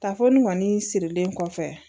Tafo nin kɔni sirilen kɔfɛ